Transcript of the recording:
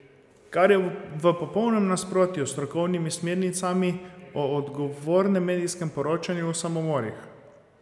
Kar je v popolnem nasprotju s strokovnimi smernicami o odgovornem medijskem poročanju o samomorih.